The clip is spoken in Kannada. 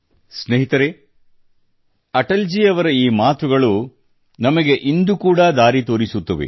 ಸ್ನೇಹಿತರೇ ಅಟಲ್ ಜಿ ಅವರ ಈ ಮಾತುಗಳು ನಮಗೆ ಇಂದು ಕೂಡಾ ದಾರಿ ತೋರಿಸುತ್ತದೆ